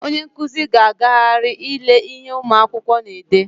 Onye nkụzi ga-agagharị ile ihe ụmụ akwụkwọ na-ede.